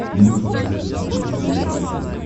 ты можешь показать на смотрешке передачу нтв